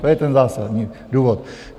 To je ten zásadní důvod.